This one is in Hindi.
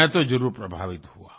मैं तो जरुर प्रभावित हुआ